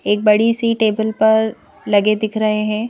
एक बड़ी सी टेबल पर लगे दिख रहे हैं।